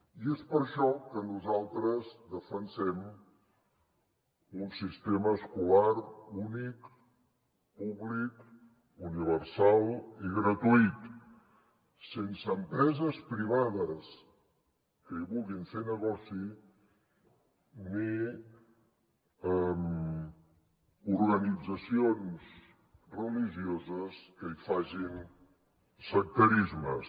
i és per això que nosaltres defensem un sistema escolar únic públic universal i gratuït sense empreses privades que hi vulguin fer negoci ni organitzacions religio·ses que hi facin sectarismes